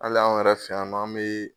Hali anw yɛrɛ fɛ anw be